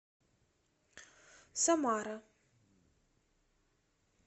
самара